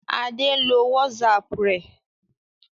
Adé ń lo WhatsApp rẹ̀.